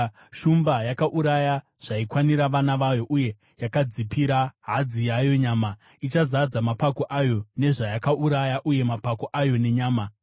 Shumba yaiuraya zvaikwanira vana vayo uye yakadzipira hadzi yayo nyama, ichizadza mapako ayo nezvayakauraya uye mapako ayo nenyama.